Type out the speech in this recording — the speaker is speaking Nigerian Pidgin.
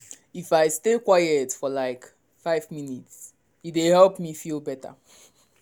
if i stay quiet for like five minute e dey help me feel better.